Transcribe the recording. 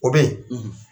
O bɛ yen